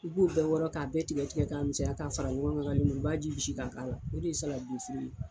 U b'u bɛɛ wɔɔrɔ k'a bɛɛ tigɛ tigɛ ka misɛnya ka fara ɲɔgɔnka, ka lemuruba ji bisi ka k'a la o de ye saladi de ye.